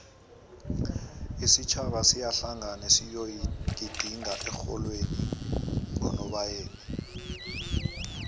isitjhaba siyahlangana siyoejidinga ehlolweni ngonobayeni